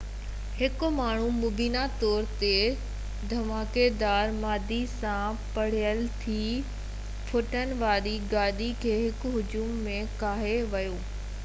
هڪ ماڻهو مبينا طور تي ڌماڪيدار مادي سان ڀريل ٽي ڦيٿن واري گاڏي کي هڪ هجوم ۾ ڪاهي ويو